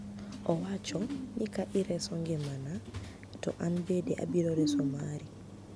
Owacho ni ka ireso ngimana to anbende abiro reso mari